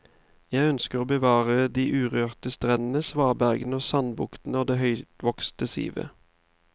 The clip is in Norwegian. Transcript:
Jeg ønsker å bevare de urørte strendene, svabergene og sandbuktene og det høyvokste sivet.